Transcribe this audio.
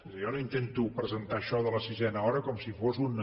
jo no intento presentar això de la sisena hora com si fos una